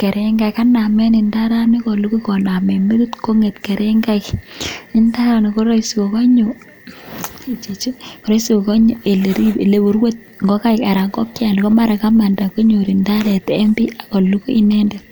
kerengaik. Kanamen ndarani kolukui konamen metit kong'et kerengaik, ndaranik ko roisi kogonyo ole korwe ngokaik anan ko mara ngokyano kogamanda konyor indaret en bii ago lugui inendet.